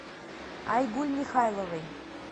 айгуль михайловой